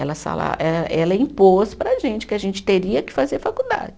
Ela eh, ela impôs para a gente, que a gente teria que fazer faculdade.